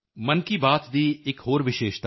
Vijay Shanti thank you thank you Vijaya Shanti